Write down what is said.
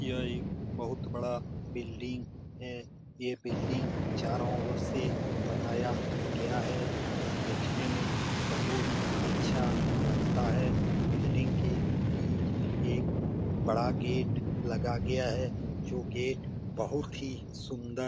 यह एक बहुत बड़ा बिल्डिंग है । ये बिल्डिंग चारों ओर से बनाया गया है । वह देखने में बहुत अच्छा लगता है । बिल्डिंग के बीच एक बड़ा गेट लगा गया है जो गेट बहुत ही सुंदर --